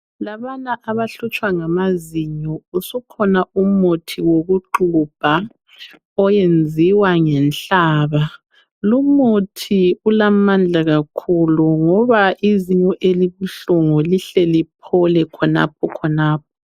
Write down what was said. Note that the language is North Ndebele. Labana abahlutshwa ngamazinyo usukhona umuthi wokuxhubha oyenziwa ngenhlaba lumuthi ulamandla kakhulu ngoba izinyo elibuhlungu lihle liphole khonapho khonapho